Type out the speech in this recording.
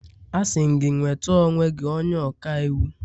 Asị m gị, nweta onwe gị onye ọka iwu!